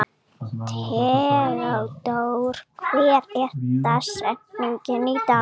Theódóra, hver er dagsetningin í dag?